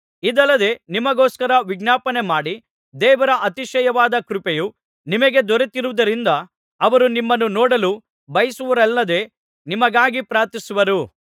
ಇದಲ್ಲದೆ ನಿಮಗೋಸ್ಕರ ವಿಜ್ಞಾಪನೆ ಮಾಡಿ ದೇವರ ಅತಿಶಯವಾದ ಕೃಪೆಯು ನಿಮಗೆ ದೊರೆತಿರುವುದರಿಂದ ಅವರು ನಿಮ್ಮನ್ನು ನೋಡಲು ಬಯಸಿರುವರಲ್ಲದೆ ನಿಮಗಾಗಿ ಪ್ರಾರ್ಥಿಸುವರು